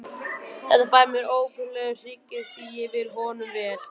Þetta fær mér óbilandi hryggðar því ég vil honum vel.